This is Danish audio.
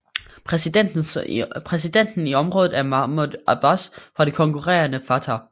Præsidenten i området er Mahmoud Abbas fra det konkurrerende Fatah